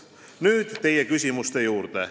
Nüüd teie küsimuste juurde.